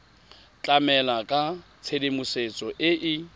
tlamela ka tshedimosetso e e